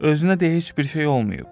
Üzünə də heç bir şey olmayıb.